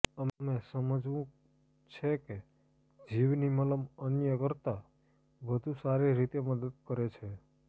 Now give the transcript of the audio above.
અમે સમજવું છે કે જવની મલમ અન્ય કરતાં વધુ સારી રીતે મદદ કરે છે